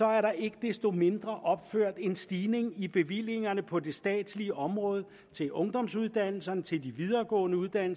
er der ikke desto mindre opført en stigning i bevillingerne på det statslige område til ungdomsuddannelserne til de videregående uddannelser